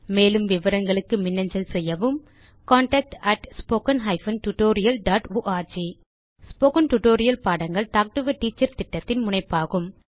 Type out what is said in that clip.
மேலும் விவரங்களுக்கு மின்னஞ்சல் செய்யவும் contactspoken tutorialorg ஸ்போகன் டுடோரியல் பாடங்கள் டாக் டு எ டீச்சர் திட்டத்தின் முனைப்பாகும்